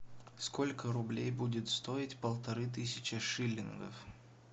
сколько рублей будет стоить полторы тысячи шиллингов